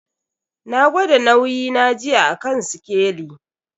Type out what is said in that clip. Na gwada nauyi na jiya a kan sikeli.